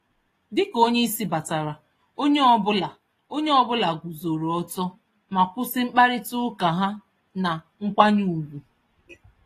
Dika onyeisi batara, onye ọbula onye ọbula guzoro ọtọ ma kwụsị mkparita ụka ha na nkwanye ùgwù